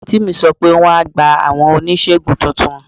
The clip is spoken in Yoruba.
Àǹtí mi sọ pé wọ́n á gba àwọn oníṣègùn tuntun.